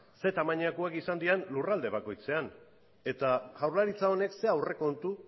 zein tamainakoak izan diren lurralde bakoitzean eta jaurlaritza honek zer aurrekontu